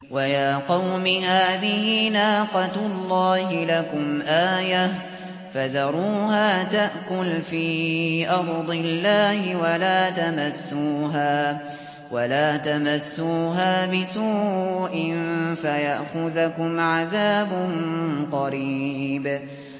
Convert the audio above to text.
وَيَا قَوْمِ هَٰذِهِ نَاقَةُ اللَّهِ لَكُمْ آيَةً فَذَرُوهَا تَأْكُلْ فِي أَرْضِ اللَّهِ وَلَا تَمَسُّوهَا بِسُوءٍ فَيَأْخُذَكُمْ عَذَابٌ قَرِيبٌ